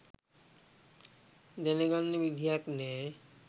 දැනගන්න විදියක් නෑ.